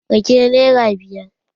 Rake nera biyar